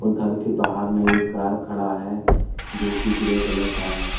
घर के बाहर में एक कर खड़ा है जो की ग्रे कलर का है।